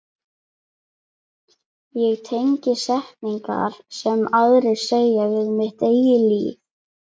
Ég tengi setningar sem aðrir segja við mitt eigið líf.